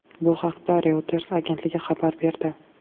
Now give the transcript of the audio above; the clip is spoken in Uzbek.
Bu haqda Reuters agentligi xabar berdi.